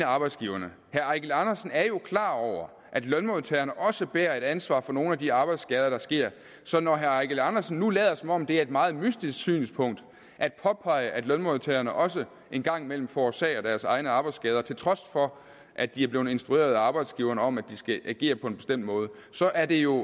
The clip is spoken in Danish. arbejdsgiverne herre eigil andersen er jo klar over at lønmodtagerne også bærer et ansvar for nogle af de arbejdsskader der sker så når herre eigil andersen nu lader som om det er et meget mystisk synspunkt at påpege at lønmodtagerne også en gang imellem forårsager deres egne arbejdsskader til trods for at de er blevet instrueret af arbejdsgiverne om at de skal agere på en bestemt måde så er det jo